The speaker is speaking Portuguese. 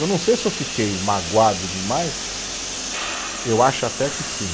Eu não sei se eu fiquei magoado demais, eu acho até que sim.